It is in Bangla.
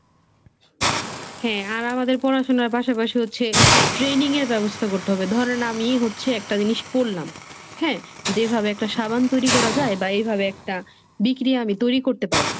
হ্যাঁ আর আমাদের পড়াশোনার পাশাপাশি হচ্ছে Training এর ব্যবস্থা করতে হবে। ধরেন আমিই হচ্ছে একটা জিনিস পড়লাম, হ্যাঁ যেভাবে একটা সাবান তৈরি করা যায় বা এভাবে একটা বিক্রি আমি তৈরি করতে পারব।